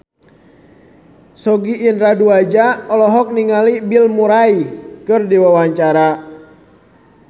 Sogi Indra Duaja olohok ningali Bill Murray keur diwawancara